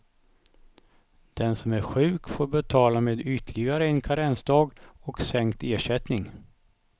Den som är sjuk får betala med ytterligare en karensdag och sänkt ersättning.